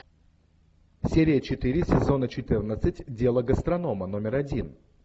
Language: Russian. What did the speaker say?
серия четыре сезона четырнадцать дело гастронома номер один